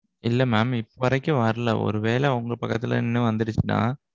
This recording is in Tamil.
இல்ல mam. இப்போ வரைக்கும் வரல. ஒருவேள உங்க பக்கத்துல நின்னு வந்திருச்சுனா?